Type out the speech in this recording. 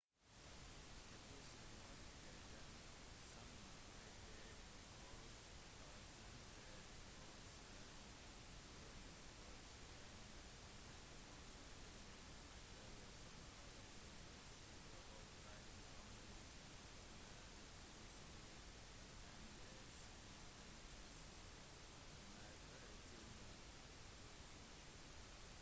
statusen var ikke den samme i det 12. århundre hovedsakelig grunnet korsfarerne som hadde kommet tilbake med gaver som for eksempel silke og krydder som ble satt mer pris på enn det bysantinske markeder tilbød